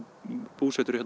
búsettur